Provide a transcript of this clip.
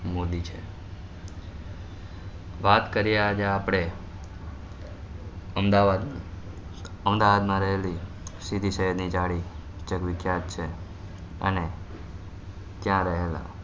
મોદી છે વાત કરીએ આજે આપડે અમ્દવાદ ની અમદાવાદ મા રહેલિ સીદી સઈદ ની જાળી જગવિખ્યાત છે અને ત્યાં રહેલા